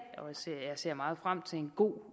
ser meget frem til en god